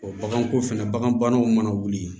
baganko fɛnɛ bagan banaw mana wuli